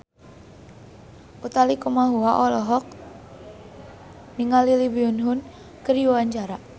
Utha Likumahua olohok ningali Lee Byung Hun keur diwawancara